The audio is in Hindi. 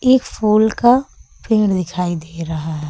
एक फूल का पेड़ दिखाई दे रहा है।